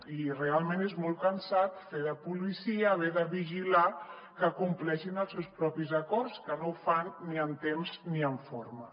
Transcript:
i realment és molt cansat fer de policia haver de vigilar que compleixin els seus propis acords que no ho fan ni en temps ni en forma